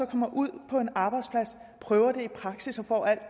kommer ud på en arbejdsplads og prøver det i praksis og får al